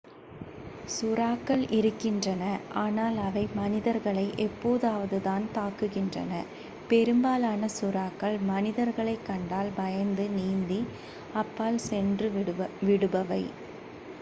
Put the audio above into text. சுறாக்கள் இருக்கின்றன ஆனால் அவை மனிதர்களை எப்போதாவதுதான் தாக்குகின்றன பெரும்பாலான சுறாக்கள் மனிதர்களைக் கண்டால் பயந்து நீந்தி அப்பால் சென்று விடுபவை